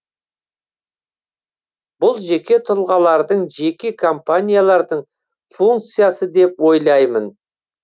бұл жеке тұлғалардың жеке компаниялардың функциясы деп ойлаймын